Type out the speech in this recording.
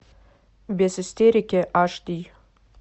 без истерики аш ди